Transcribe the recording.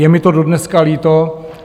Je mi to dodneška líto.